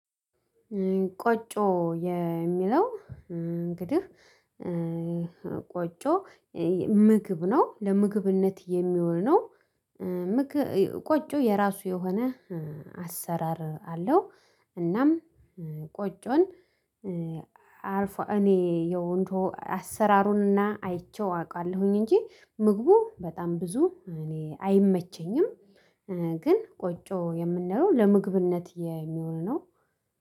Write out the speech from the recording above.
ቆጮ የሚለው እንግዲህ፣ ቆጮ ምግብ ነው ለምግብነት የሚሆነው ቆጮ የራሱ የሆነ አሰራር አለው። እናም ቆጮን አርፎ እኔ የወንዱ አሠራሩንና አይቼው አውቃለሁኝ እንጂ ምግቡ በጣም ብዙ እኔ አይመቸኝም ግን ቆጮ የምንለው ለምግብነት የሚሆን ነው